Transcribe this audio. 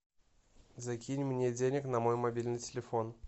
закинь мне денег на мой мобильный телефон